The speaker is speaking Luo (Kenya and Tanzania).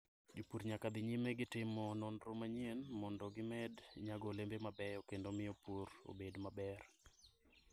Jopur nyaka dhi nyime gi timo nonro manyien mondo gimed nyago olembe mabeyo kendo miyo pur obed maber.